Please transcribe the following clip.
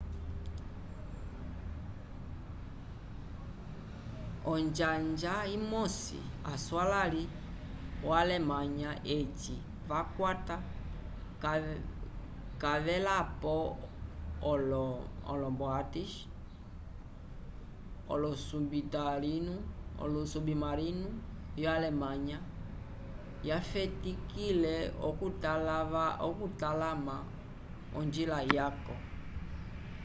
onjanja imosi aswalãli vyo alemanha eci vakwata cavelapo olo u-boats olosubimarinu vyo alemnaha yafetikile okutalama onjila yaco